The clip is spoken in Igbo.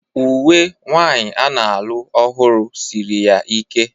Uwe nwanyi a na-alụ ọhụrụ siri ya ike.